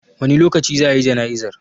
Wani lokaci za a yi jana'izar?